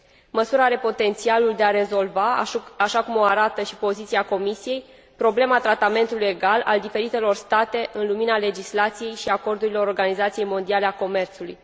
Măsura are potențialul de a rezolva așa cum o arată și poziția Comisiei problema tratamentului egal al diferitelor state în lumina legislației și a acordurilor Organizației Mondiale a Comerțului.